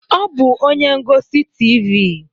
Ọ bụ onye ngosi Tivii.